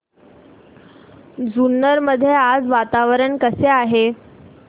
जुन्नर मध्ये आज वातावरण कसे आहे